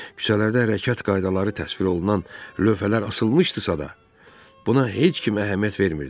Küçələrdə hərəkət qaydaları təsvir olunan lövhələr asılmışdısa da, buna heç kim əhəmiyyət vermirdi.